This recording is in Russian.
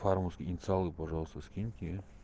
по-русски инициалы пожалуйста скиньте